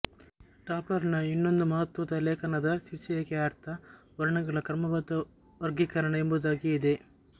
ಡಾಪ್ಲರನ ಇನ್ನೊಂದು ಮಹತ್ತ್ವದ ಲೇಖನದ ಶೀರ್ಷಿಕೆಯ ಅರ್ಥ ವರ್ಣಗಳ ಕ್ರಮಬದ್ಧ ವರ್ಗೀಕರಣ ಎಂಬುದಾಗಿ ಇದೆ